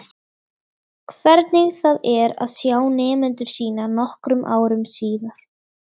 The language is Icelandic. Hvernig það er að sjá nemendur sína nokkrum árum síðar.